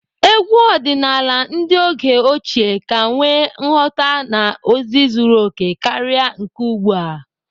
Egwu ọdịnaala ndị oge ochie ka nwee nghọta na ozi zuru okè karịa nke ugbu a.